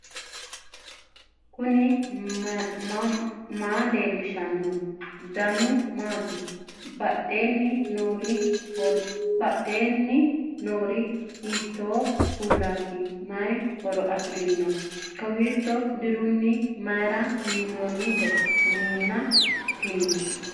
knuni maa leellishanno ? danano maati ? badheenni noori hiitto kuulaati ? mayi horo afirino ? kowiicho dirre mayra minnoonite minna tini